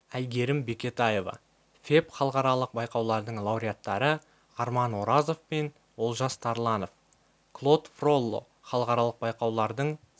әйгерім бекетаева феб халықаралық байқаулардың лауреаттары арман оразов пен олжас тарланов клод фролло халықаралық байқаулардың